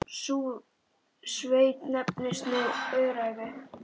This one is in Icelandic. Sú sveit nefnist nú Öræfi.